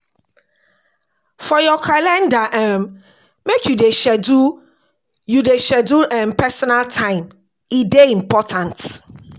For your calender, make you dey schedule personal time, e dey important.